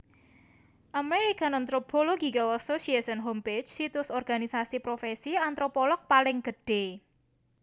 American Anthropological Association Homepage Situs organisasi profèsi antropolog paling gedhé